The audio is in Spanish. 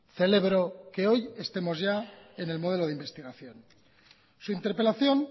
celebro que hoy estemos ya en el modelo de investigación su interpelación